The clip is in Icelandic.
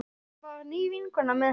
Það var ný vinkona með henni.